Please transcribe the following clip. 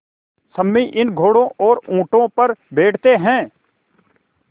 सम्मी इन घोड़ों और ऊँटों पर बैठते हैं